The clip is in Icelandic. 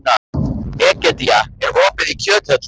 Egedía, er opið í Kjöthöllinni?